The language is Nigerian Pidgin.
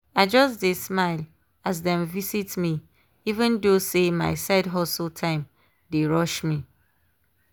i just dey smile as dem visit me even though say my side hustle time dey rush me.